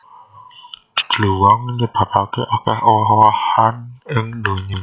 Dluwang nyebabaké akèh owah owahan ing donya